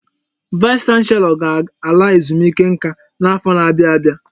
Vaịs chanselọ ga-ala ezumike nká n'afọ n'abia abịa